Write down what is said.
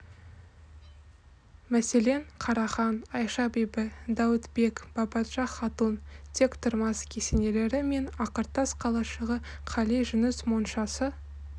мәселен қарахан айша бибі дәуітбек бабаджа хатун тектұрмас кесенелері мен ақыртас қалашығы қали жүніс моншасы